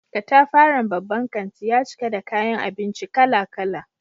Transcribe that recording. Katafaren babban kanti ya cika da kayan abinci kala-kala.